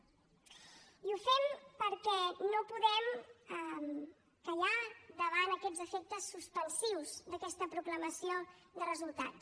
i ho fem perquè no podem callar davant aquests efectes suspensius d’aquesta proclamació de resultats